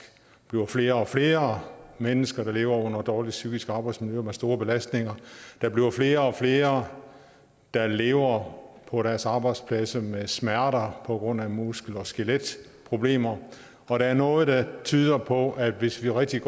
bliver flere og flere mennesker der lever under et dårligt psykisk arbejdsmiljø og med store belastninger at der bliver flere og flere der lever på deres arbejdspladser med smerter på grund af muskel og skeletproblemer og der er noget der tyder på at hvis vi rigtigt